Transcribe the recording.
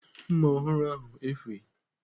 Mma ọhụrụ ahụ efughị ​​.